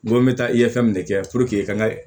N ko n bɛ taa i ye fɛn mun ne kɛ i ka